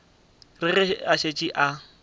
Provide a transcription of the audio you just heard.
re ge a šetše a